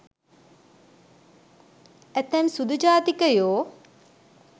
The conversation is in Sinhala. ඇතැම් සුදු ජාතිකයෝ